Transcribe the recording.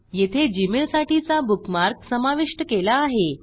येथे जीमेल साठीचा बुकमार्क समाविष्ट केला आहे